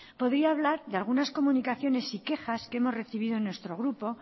podría hablar de algunas comunicaciones y quejas que hemos recibido en nuestro grupo